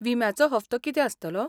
विम्याचो हप्तो कितें आसतलो?